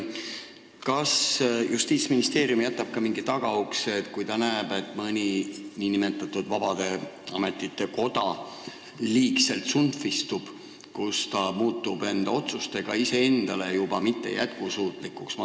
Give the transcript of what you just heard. Kas Justiitsministeerium jätab ka mingi tagaukse, selleks puhuks, kui ta näeb, et mõni nn vabade ametite koda liigselt tsunftistub, nii et ta muudab enda otsustega iseennast juba mittejätkusuutlikuks?